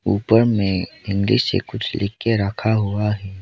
ऊपर में इंग्लिश से कुछ लिख के रखा हुआ है।